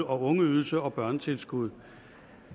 og ungeydelse og børnetilskud